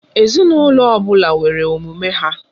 Ezinụlọ ọbụla nwere omume ha.